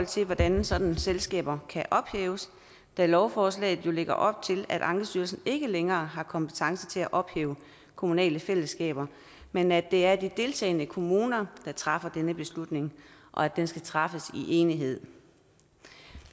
til hvordan sådanne selskaber kan ophæves da lovforslaget jo lægger op til at ankestyrelsen ikke længere har kompetence til at ophæve kommunale fællesskaber men at det er de deltagende kommuner der træffer denne beslutning og at den skal træffes i enighed